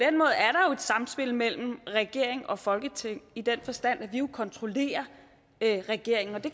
samspil mellem regering og folketing i den forstand at vi jo kontrollerer regeringen og det